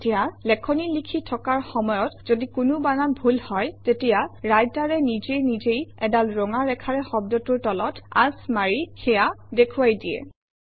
এতিয়া লেখনি লিখি থকাৰ সময়ত যদি কোনো বানান ভুল হয় তেতিয়া ৰাইটাৰে নিজে নিজেই এডাল ৰঙা ৰেখাৰে শব্দটোৰ তলত আঁচ মাৰি সেয়া দেখুৱাই দিয়ে